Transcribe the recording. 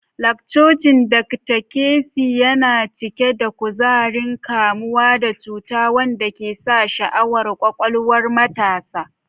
Lakcocin Dr. Kwesi na cike da kuzarin kamuwa da cuta wanda ke sa sha'awar kwakwalwar matasa.